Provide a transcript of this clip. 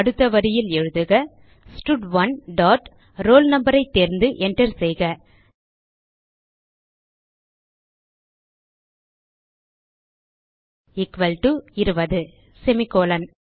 அடுத்த வரியில் எழுதுக ஸ்டட்1 டாட் roll no ஐ தேர்ந்து enter செய்க எக்குவல் டோ 20 செமிகோலன்